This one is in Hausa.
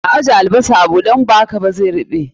A ajje albasar a buɗe, idan ba haka zai ruɓe